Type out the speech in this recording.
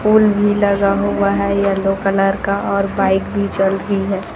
Pool भी लगा हुआ है येलो कलर का और बाइक भी चल रही है।